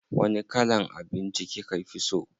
Wani kalan abinci kika fi so?